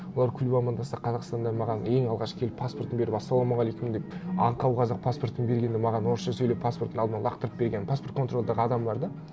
олар күліп амандасса қазақстанда маған ең алғашқы келіп паспортын беріп ассалаумағалейкум деп аңқау қазақ паспортын бергенде маған орысша сөйлеп паспортын алдыма лақтырып берген паспортный контрольдағы адамдар да